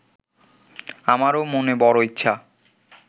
আমারও মনে বড় ইচ্ছা